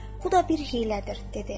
Bu da bir hiylədir, dedi.